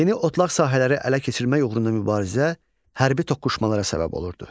Yeni otlaq sahələri ələ keçirmək uğrunda mübarizə hərbi toqquşmalara səbəb olurdu.